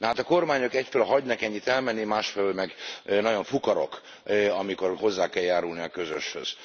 Nahát a kormányok egyfelől hagynak ennyit elmenni, másfelől meg nagyon fukarok, amikor hozzá kell járulni a közöshöz.